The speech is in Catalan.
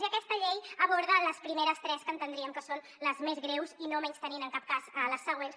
i aquesta llei aborda les primeres tres que entendríem que són les més greus no menystenint en cap cas les següents